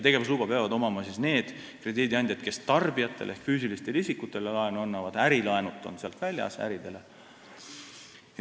Tegevusluba peab olema nendel krediidiandjatel, kes annavad laenu tarbijatele ehk füüsilistele isikutele, ärilaenud on sealt väljas.